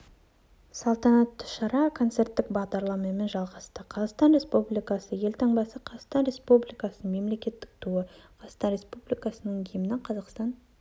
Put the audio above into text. салтанатты шара концерттік бағдарламамен жалғасты қазақстан республикасы елтаңбасы қазақстан республикасының мемлекеттік туы қазақстан республикасының гимні қазақстан